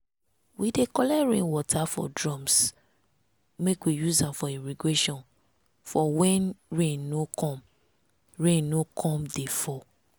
we dey collect rain water for drums make we use am for irrigation for when rain no come rain no come dey fall.